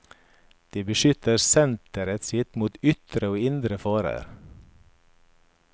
De beskytter senteret sitt mot ytre og indre farer.